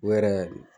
U yɛrɛ